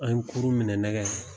An ye kurun minɛ nɛgɛ